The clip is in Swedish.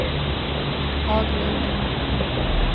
Haglund